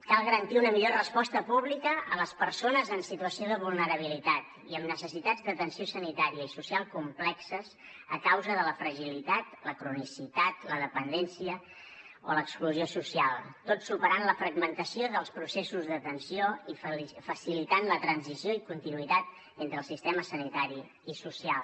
cal garantir una millor resposta pública a les persones en situació de vulnerabilitat i amb necessitats d’atenció sanitària i social complexes a causa de la fragilitat la cronicitat la dependència o l’exclusió social tot superant la fragmentació dels processos d’atenció i facilitant la transició i continuïtat entre els sistemes sanitari i social